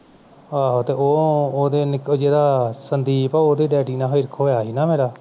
ਆਵੇ ਤੇ ਉਹ ਉਹਦੇ ਨੀਕੋ ਜਿਹੜਾ Sandeep ਉਹਦੇ daddy ਨਾਲ ਹਿਰਖ ਹੋਇਆ ਸੀਨਾ ਮੇਰਾ